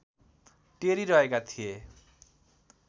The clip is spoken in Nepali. टेरी रहेका थिए